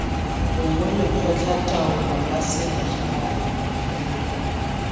gongwe lekgotlataolo la selegae fela